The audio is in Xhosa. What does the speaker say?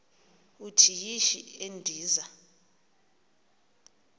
uthi yishi endiza